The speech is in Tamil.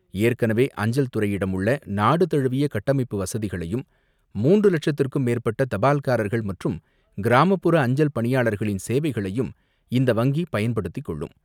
ஏற்கனவே அஞ்சல் துறையிடம் உள்ள நாடு தழுவிய கட்டமைப்பு வசதிகளையும் மூன்று லட்சத்திற்கும் மேற்பட்ட தபால்காரர்கள் மற்றும் கிராமபுற அஞ்சல் பணியாளர்களின் சேவைகளையும் இந்த வங்கி பயன்படுத்தி கொள்ளும்.